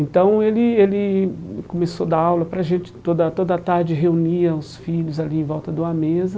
Então ele ele começou a dar aula para a gente, toda toda tarde reunia os filhos ali em volta de uma mesa.